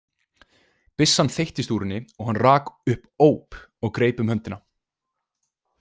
Byssan þeyttist úr henni og hann rak upp óp og greip um höndina.